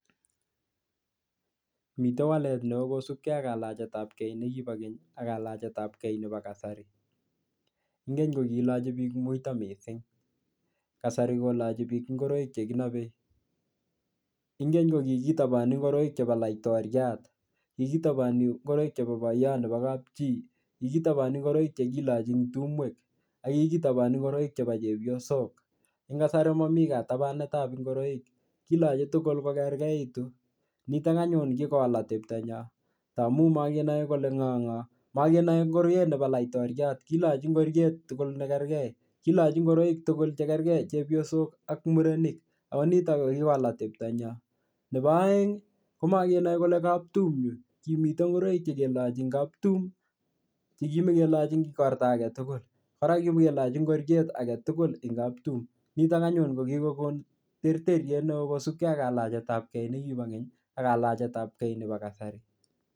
Mite walet ne oo kosupkei ak kalachetabkei ne kibo keny ak kalachetabkei nebo kasari, ing keny ko kilochi piik muito mising, kasari kolachi piik ingoroik che kinobei, ing keny ko kikitoboni ngoroik che bo laitoriat, kikitoboni ngoroik chebo boiyo nebo kapchi, kikitoboni ngoroik che kilochi ing tumwek, ak kikitoboni ngoroik chebo chepyosok, eng kasari momi katabanetab ingoroik, kilochi tugul kokerkeitu, nitok anyun kikowal ateptonyo tamu mokenoe kole ngo ngo, mokenoe ngoriet nebo laitoriat kilochi ngoriet tugul ne kerkei, kilochi ngoroik tugul che kerkei chepyosok ak murenik, ako nitok ko kikowal ateptonyo, nebo aeng ko makenoe kole kaptum yu, kimite ngoroik che kilochi eng kaptum chi kimekelochi eng ikorta ake tugul ara keleochi ngoriet age tugul eng kaptum, nitok anyun ko kikokon terteriet neo kosupkei ak kalachetabkei ne kibo keny ak kalachetabkei nebo kasari.